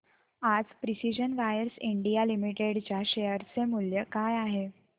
आज precision wires India limited च्या share चे मूल्य काय आहे